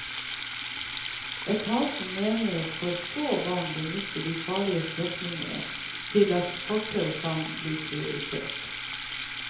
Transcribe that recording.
Etaten mener for få barn benytter de farlige strekningene til at fortau kan bli prioritert.